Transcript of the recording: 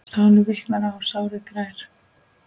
Sálin viknar, sárið grær.